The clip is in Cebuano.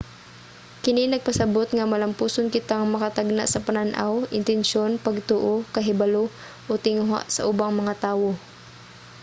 kini nagapasabot nga malampuson kitang makatagna sa panan-aw intensiyon pagtuo kahibalo o tinguha sa ubang mga tawo